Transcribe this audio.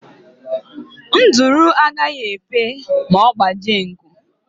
Nduru agaghị efe ma ọ gbajie nku.